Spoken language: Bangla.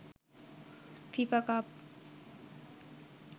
FIFA cup